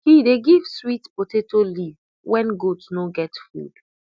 he dey give sweet potato leaf when goat no get food